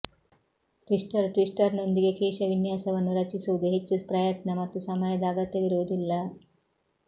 twister ಟ್ವಿಸ್ಟರ್ನೊಂದಿಗೆ ಕೇಶವಿನ್ಯಾಸವನ್ನು ರಚಿಸುವುದು ಹೆಚ್ಚು ಪ್ರಯತ್ನ ಮತ್ತು ಸಮಯದ ಅಗತ್ಯವಿರುವುದಿಲ್ಲ